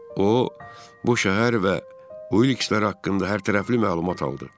O bu şəhər və Ulikslər haqqında hərtərəfli məlumat aldı.